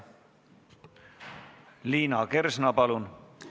Liina Kersna, palun!